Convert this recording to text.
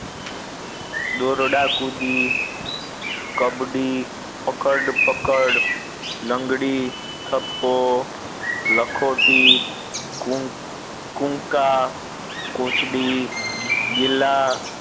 દોરડા કુદી કબડી પકડ પકડ લંગડી થપ્પો લખોટી કું કુંકા કોચડી બિલ્લા